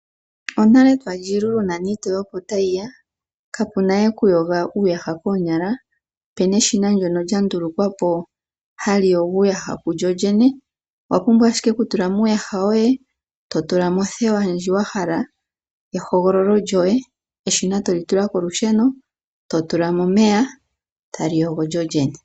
Onale twali iilulu mboli iitoye opo tayiya, kapunawe okuyoga uuyaha koonyala, opena eshina ndjono lyandulukwapo haliyogo uuyaha kulyolyene, owa pumbwa ashike oku tulamo uuyaha woye totulamo othewa ndji wahala yehogololo lyoye eshina tolitula kolusheno totulamo omeya taliyogo lyolyene.